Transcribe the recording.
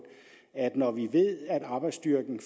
at når vi ved at arbejdsstyrken